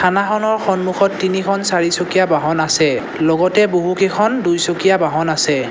থানাখনৰ সন্মুখত তিনিখন চাৰিচকীয়া বাহন আছে লগতে বহুকেইখন দুইচকীয়া বাহন আছে।